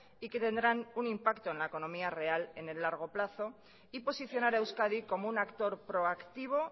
y que tendrán un impacto en la economía real en el largo plazo y posicionar a euskadi como un actor proactivo